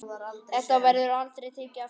Þetta verður aldrei tekið aftur.